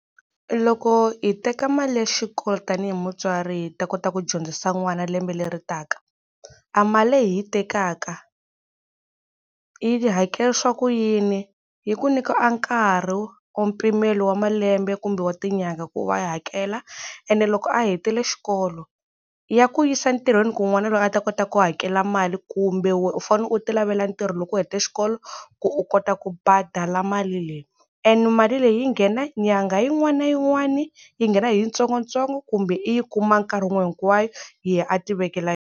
Loko hi teka mali ya xikolo tanihi mutswari hi ta kota ku dyondzisa n'wana lembe leri taka a mali leyi hi yi tekaka yi hakelisiwa ku yini, yi ku nyika a nkarhi or mpimelo wa malembe kumbe wa tinyanga ku va i hakela ene loko a hetile xikolo ya ku yisa ntirhweni ku n'wana loyi a ta kota ku hakela mali kumbe wena u fane u ti lavela ntirho loko u heta xikolo ku u kota ku badala mali leyi and mali leyi yi nghena nyangha yin'wana na yin'wana yi nghena hi yitsongotsongo kumbe i yi kuma nkarhi wun'we hinkwayo yena a ti vekela.